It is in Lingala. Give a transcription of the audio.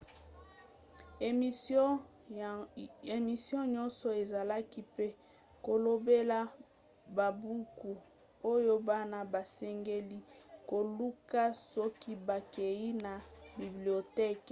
emission nyonso ezalaki mpe kolobela babuku oyo bana basengeli koluka soki bakei na biblioteke